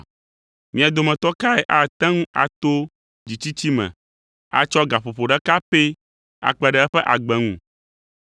Mia dometɔ kae ate ŋu ato dzitsitsi me atsɔ gaƒoƒo ɖeka pɛ akpe ɖe eƒe agbe ŋu?